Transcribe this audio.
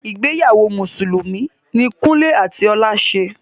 Ìgbéyàwó mùsùlùmí ní Kúnle àti Ọlá ṣe.